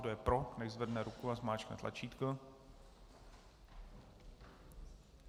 Kdo je pro, nechť zvedne ruku a zmáčkne tlačítko.